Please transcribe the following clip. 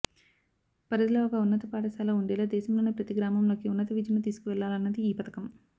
పరిధిలో ఒక ఉన్నత పాఠశాల ఉండేలా దేశంలోని ప్రతి గ్రామంలోకి ఉన్నత విద్యను తీసుకువెళ్లాలన్నది ఈ పథకం